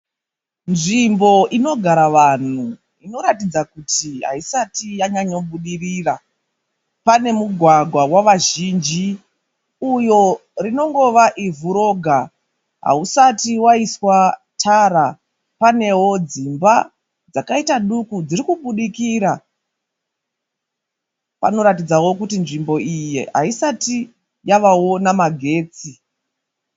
Nzvimbo inogara vanhu inoratidza kuti haisati yanyanyobudirira. Pane mugwagwa wavazhinji uyo rinongova ivhu roga. Hausati waiswa tara. Panewo dzimba dzakaita duku dziri kubudikira. Panoratidzawo kuti nzvimbo iyi haisati yavawo namagetsi.